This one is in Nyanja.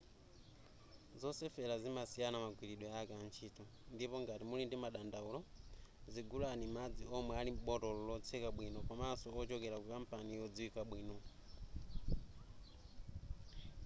zosefera zimasiyana magwiridwe ake a ntchito ndipo ngati muli ndi dandaulo zigulani madzi omwe ali m'botolo lotseka bwino komaso wochokera ku kampani yodziwika bwino